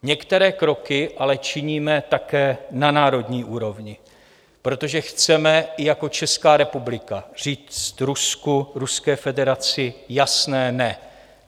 Některé kroky ale činíme také na národní úrovni, protože chceme i jako Česká republika říct Rusku, Ruské federaci, jasné "ne".